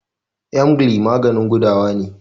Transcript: Emgyl maganin gudawa ne.